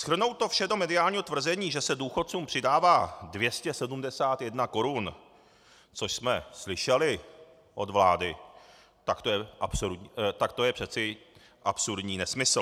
Shrnout to vše do mediálního tvrzení, že se důchodcům přidává 271 korun, což jsme slyšeli od vlády, tak to je přeci absurdní nesmysl.